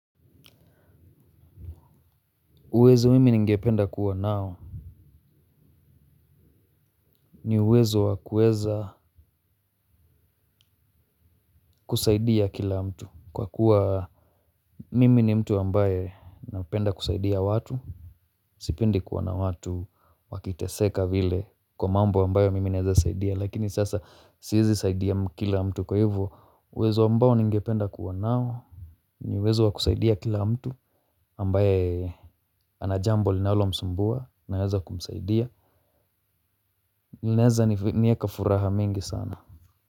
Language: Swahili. Uwezo mimi ningependa kuwa nao. Ni uwezo wakueza kusaidia kila mtu. Kwa kuwa mimi ni mtu ambaye napenda kusaidia watu. Sipendi kuona watu wakiteseka vile kwa mambo ambayo mimi neza saidia. Lakini sasa siezi saidia kila mtu. Kwa hivo uwezo ambao ningependa kuwa nao. Ni uwezo wakusaidia kila mtu ambaye anajambo linalo msumbua naweza kumsaidia. Linaeza niyeka furaha mingi sana.